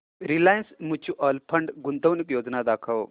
Reliance mutual fund गुंतवणूक योजना दाखव